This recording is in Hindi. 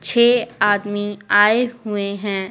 छह आदमी आए हुए हैं।